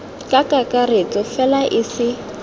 ka kakaretso fela e se